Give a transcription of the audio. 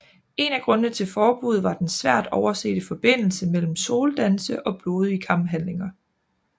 En af grundene til forbuddet var den svært oversete forbindelse mellem soldanse og blodige kamphandlinger